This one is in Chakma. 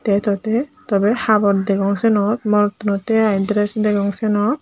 eto tey tobey habor degong siyenot morottuney aai dress degong siyenot.